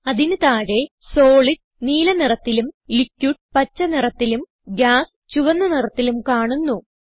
അതിന് താഴെ സോളിഡ് നീല നിറത്തിലും ലിക്വിഡ് പച്ച നിറത്തിലും ഗാസ് ചുവന്ന നിറത്തിലും കാണുന്നു